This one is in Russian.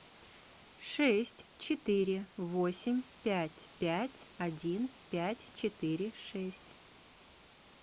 шесть четыре восемь пять пять один пять четыре шесть